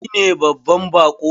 Shi ne babban bako.